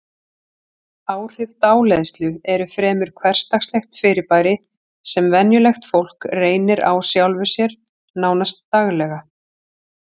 Áhrif dáleiðslu eru fremur hversdagslegt fyrirbæri sem venjulegt fólk reynir á sjálfu sér, nánast daglega.